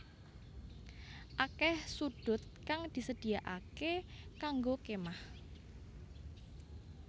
Akeh sudhut kang disedhiakaké kanggo kémah